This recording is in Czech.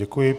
Děkuji.